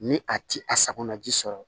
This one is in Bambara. Ni a ti a sakonaji sɔrɔ